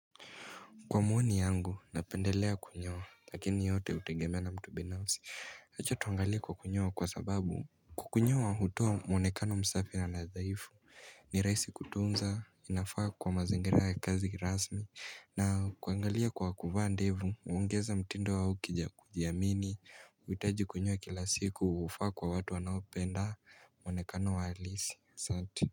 Kwa mwoni yangu, napendelea kunyoa, lakini yote hutengemea na mtu binafsi. Hicho tuangali kwa kunyoa kwa sababu. Kunyoa, hutoa mwonekano msafi na nadhaifu. Ni rahisi kutunza, inafaa kwa mazingira ya kazi rasmi. Na kuangalia kwa kuva ndevu, hungeza mtindo wao wa kujiamini. Hitaji kunyoa kila siku, hufaa kwa watu wanaopenda mwonekano wa alisi. Satu.